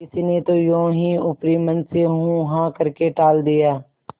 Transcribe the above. किसी ने तो यों ही ऊपरी मन से हूँहाँ करके टाल दिया